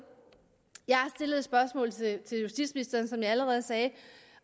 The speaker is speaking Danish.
jeg har stillet som jeg allerede sagde